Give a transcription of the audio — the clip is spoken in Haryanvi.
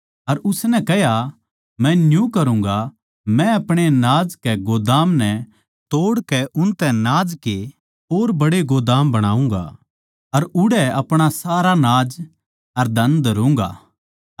अर उसनै कह्या मै न्यू करूँगा मै अपणे नाज के गोदाम नै तोड़ कै उनतै नाज के और बड़े गोदाम बनाऊँगा अर उड़ै अपणा सारा नाज अर धन धरुंगा